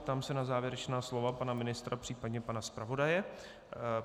Ptám se na závěrečná slova pana ministra, případně pana zpravodaje?